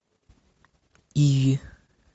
и